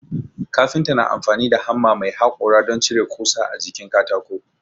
Kafinta na amfani da hamma mai haƙora don cire ƙusa a jikin katako